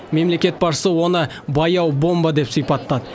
мемлекет басшысы оны баяу бомба деп сипаттады